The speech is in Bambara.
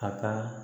A ka